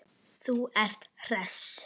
Þú ert hress!